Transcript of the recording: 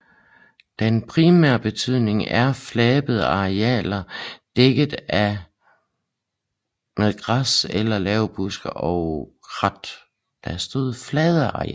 Den primære betydning er flade arealer dækket med græs eller lave buske og krat